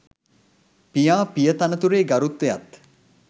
පියා පිය තනතුරේ ගරුත්වයත්